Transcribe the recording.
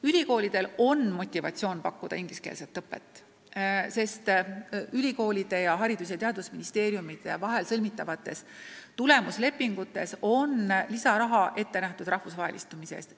Ülikoolidel on motivatsioon pakkuda ingliskeelset õpet, sest ülikoolide ning Haridus- ja Teadusministeeriumi vahel sõlmitavates tulemuslepingutes on ette nähtud lisaraha rahvusvahelistumise eest.